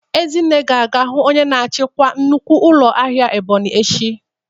Ezinne ga-aga hụ onye nchịkwa nnukwu ụlọ ahịa Ebonyi echi.